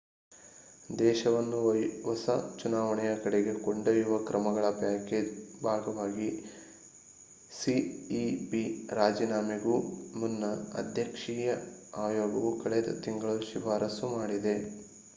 ದೇಶವನ್ನು ಹೊಸ ಚುನಾವಣೆಯ ಕಡೆಗೆ ಕೊಂಡೊಯ್ಯುವ ಕ್ರಮಗಳ ಪ್ಯಾಕೇಜ್ ಭಾಗವಾಗಿ ಸಿಇಪಿ ರಾಜೀನಾಮೆಗೂ ಮುನ್ನ ಅಧ್ಯಕ್ಷೀಯ ಆಯೋಗವು ಕಳೆದ ತಿಂಗಳು ಶಿಫಾರಸು ಮಾಡಿದೆ